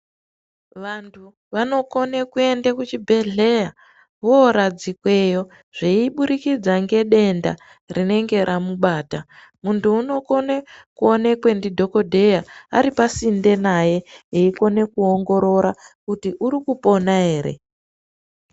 Vantu vanokona kuenda kuchibhedhlera voradzikweyo zveiburikidza ngedenda rinenge ramubata muntu unokona kuonekwa nadhokodheya aripasinde naye eikona kuongorora kuti arikupona ere.